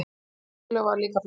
Sú tillaga var líka felld.